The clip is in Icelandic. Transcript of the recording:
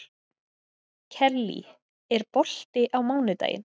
Kellý, er bolti á mánudaginn?